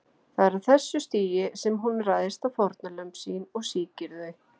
Það er á þessu stigi sem hún ræðst á fórnarlömb sín og sýkir þau.